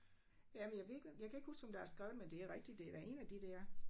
Jamen jeg ved ikke hvem jeg kan ikke huske hvem der har skrevet den men det er rigtigt det da 1 af de der